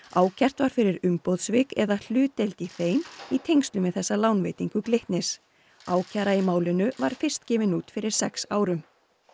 ákært var fyrir umboðssvik eða hlutdeild í þeim í tengslum við þessa lánveitingu Glitnis ákæra í málinu var fyrst gefin út fyrir sex árum